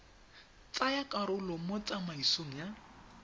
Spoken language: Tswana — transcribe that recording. tsaya karolo mo tsamaisong ya